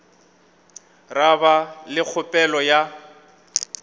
ra ba le kgopelo ya